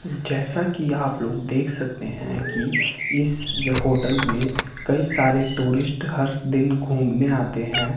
जैसा कि आप लोग देख सकते हैं कि इस होटल में कई सारे टूरिस्ट हर दिन घूमने आते हैं।